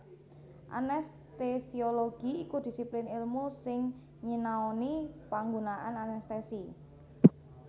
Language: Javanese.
Anestesiologi iku disiplin èlmu sing nyinaoni panggunaan anestesi